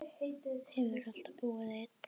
Hefurðu alltaf búið einn?